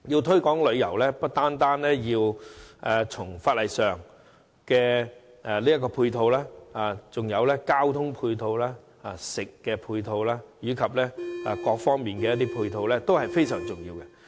推廣旅遊不單要在法例方面作出配合，還有交通、飲食及其他方面的配套，全部皆非常重要。